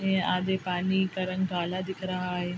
ये आधे पानी का रंग काला दिख रहा है।